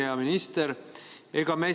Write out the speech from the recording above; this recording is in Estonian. Hea minister!